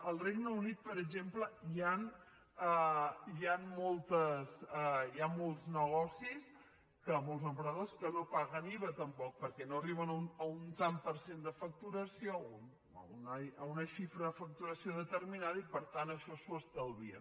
al regne unit per exemple hi han molts negocis molts emprenedors que no paguen iva tampoc perquè no arriben a un tant per cent de facturació a una xifra de facturació determinada i per tant això s’ho estalvien